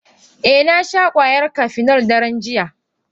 Eh nasha kwayar Cafenol daren jiya.